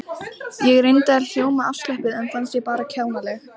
Ég reyndi að hljóma afslöppuð en fannst ég bara kjánaleg.